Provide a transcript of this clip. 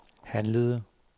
handlede